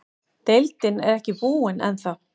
Deildin er ekki búinn ennþá.